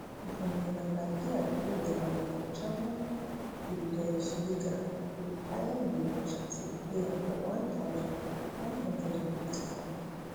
bruno labbadia do well um for german bundesliga wit bayern munich as a player for one thousand, nine hundred and ninety-four